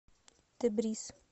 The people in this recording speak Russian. тебриз